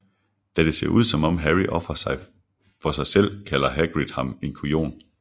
Da det ser ud som om Harry ofrer sig selv kalder Hagrid ham en kujon